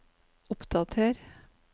oppdater